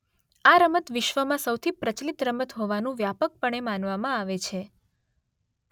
આ રમત વિશ્વમાં સૌથી પ્રચલિત રમત હોવાનું વ્યાપકપણે માનવામાં આવે છે